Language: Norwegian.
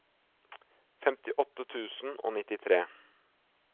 femtiåtte tusen og nittitre